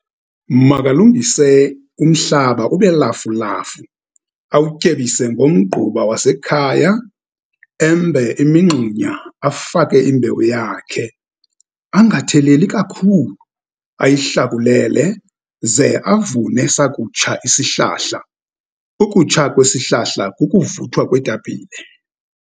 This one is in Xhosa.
Makalungise umhlaba ube lafulafu, awutyebise ngomgquba wasekhaya, embe imingxunya, afake imbewu yakhe, angatheleli kakhulu, ayihlakulele, ze avune sakutsha isihlahla. Ukutsha kwesihlahla kukuvuthwa kweetapile.